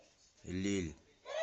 лилль